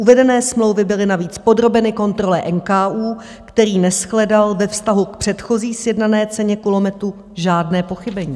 Uvedené smlouvy byly navíc podrobeny kontrole NKÚ, který neshledal ve vztahu k předchozí sjednané ceně kulometů žádné pochybení.